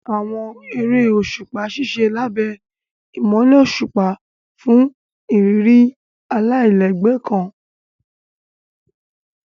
Àwọn eré òṣùpá ṣiṣẹ lábé imọlẹ òṣùpá fún ìrírí alailẹgbẹ kàn.